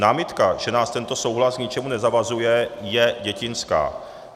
Námitka, že nás tento souhlas k ničemu nezavazuje, je dětinská.